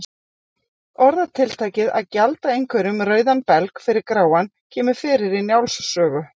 Orðatiltækið að gjalda einhverjum rauðan belg fyrir gráan kemur fyrir í Njáls sögu.